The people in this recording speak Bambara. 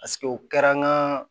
Paseke o kɛra n ka